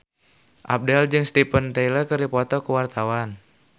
Abdel jeung Steven Tyler keur dipoto ku wartawan